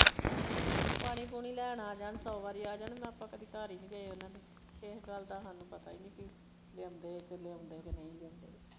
ਪਾਣੀ ਪੂਣੀ ਲੈਣ ਆ ਜਾਣ ਸੋ ਵਾਰੀ ਆ ਜਾਣ ਆਪਾਂ ਕਦੀ ਘਰ ਈ ਨਹੀਂ ਗਏ ਓਹਨਾ ਦੇ ਕਿਸੇ ਗੱਲ ਦਾ ਹਾਨੂੰ ਪਤਾ ਈ ਨਹੀਂ ਕਿ ਲਿਆਉਂਦੇ ਆ ਲਿਆਉਂਦੇ ਕੇ ਨਹੀਂ ਲਿਆਉਂਦੇ।